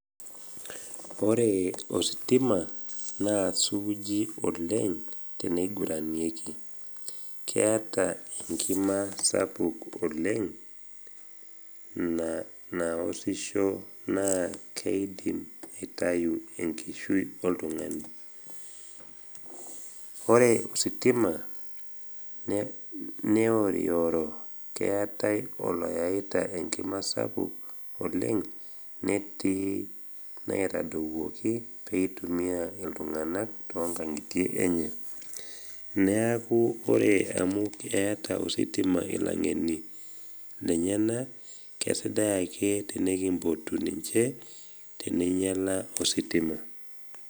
Ore ositima naa suuji oleng teneiguranieki. Keata engima sapuk oleng naosisho naa keidim aitayu enkishui oltung’ani. Ore ositima neorioro, keatai oloyaita enigma sapuk oleng, netii naitaduwuoki peitumia iltung’ana toonkang’ie enye. Neaku ore amu eata ositima lilang’eni lenyena, kesidai ake tenekimbotu ninche teneinyala ositima.